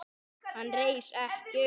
Hann reis ekki upp.